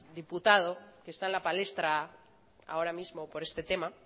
diputado que está en la palestra ahora mismo por este tema